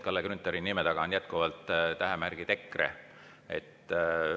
Kalle Grünthali nime taga on jätkuvalt tähemärgid EKRE.